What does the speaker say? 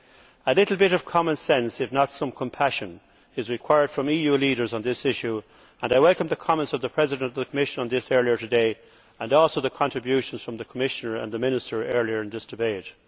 A little bit of common sense if not some compassion is required from EU leaders on this issue and I welcome the comments by the President of the Commission on this earlier today and also the contributions from the Commissioner and the Minister earlier in this debate.